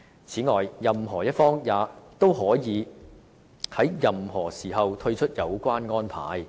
此外，任何一方均可在任何時候退出有關安排。